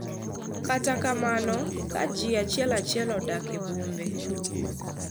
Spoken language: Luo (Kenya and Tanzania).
Kata kamano, ka ji achiel achiel odak e bombe,